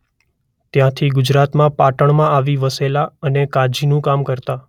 ત્યાંથી ગુજરાતમાં પાટણમાં આવી વસેલા અને કાજીનું કામ કરતા.